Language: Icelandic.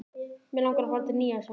Mig langar að fara til Nýja-Sjálands.